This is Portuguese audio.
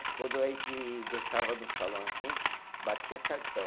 Que quando a gente gostava do salão assim, a gente batia cartão.